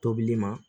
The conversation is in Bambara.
Tobili ma